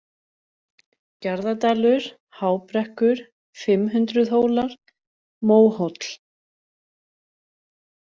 Gjarðadalur, Hábrekkur, Fimmhundruðhólar, Móhóll